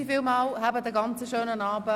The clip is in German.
Vielen Dank und allen einen schönen Abend.